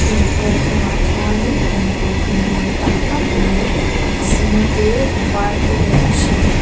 chumi plate chungah chuanin eitur tui hmel tak tak mai a sen te a var te leh a hring te--